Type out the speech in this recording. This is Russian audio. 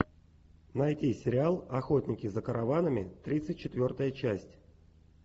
найти сериал охотники за караванами тридцать четвертая часть